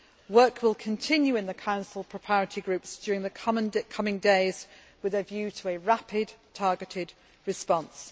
Work will continue in the Council preparatory groups during the coming days with a view to a rapid, targeted response.